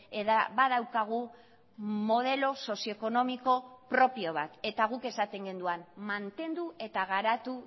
eta badaukagu modelo sozio ekonomiko propio bat eta guk esaten genuen mantendu eta garatu